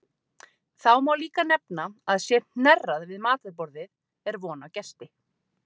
Þá má líka nefna að sé hnerrað við matarborðið er von á gesti.